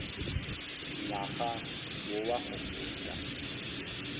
ngwaga wo wa go feta